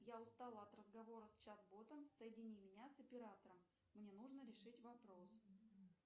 я устала от разговора с чат ботом соедини меня с оператором мне нужно решить вопрос